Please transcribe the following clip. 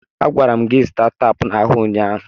Agwara m gị zụta teepu n'ahịa ụnyaahụ!